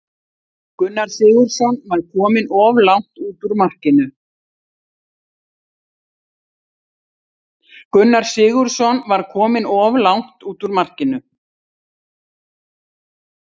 Gunnar Sigurðsson var kominn of langt út úr markinu.